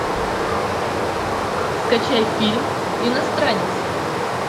скачай фильм иностранец